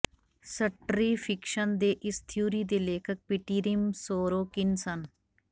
ਸਟਰ੍ਰਿਫਿਕਸ਼ਨ ਦੇ ਇਸ ਥਿਊਰੀ ਦੇ ਲੇਖਕ ਪਿਟੀਰਿਮ ਸੋਰੋਕਿਨ ਸਨ